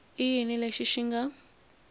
i yini lexi xi nga